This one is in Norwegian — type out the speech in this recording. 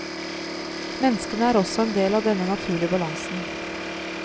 Menneskene er også en del av denne naturlige balansen.